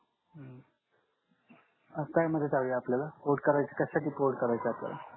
काय मदत हवी आहे आपल्याला करायच कक्षा साठी करायच आहे आपल्याला